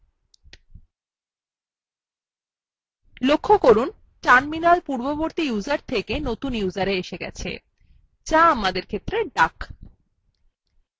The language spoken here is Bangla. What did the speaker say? লক্ষ্য করুন terminal পূর্ববর্তী user থেকে নতুন userএ এসেছে যা আমাদের ক্ষেত্রে duck